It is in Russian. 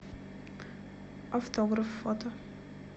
автограф фото